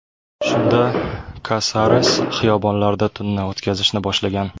Shunda Kasares xiyobonlarda tunni o‘tkazishni boshlagan.